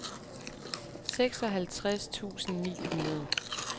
seksoghalvtreds tusind ni hundrede